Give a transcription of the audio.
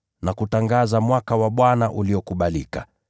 na kutangaza mwaka wa Bwana uliokubalika.”